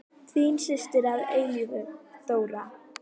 Þín systir að eilífu, Þóra.